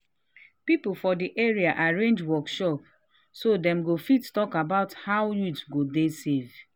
people for the area arrange workshop so dem go fit talk about how youth go dey safe.